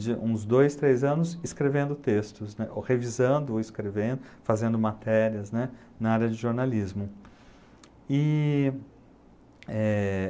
uns dois, três anos, escrevendo textos, né, ou revisando ou escrevendo, fazendo matérias, né, na área de jornalismo. E eh...